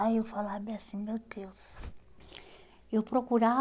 Aí eu falava bem assim, meu Deus, eu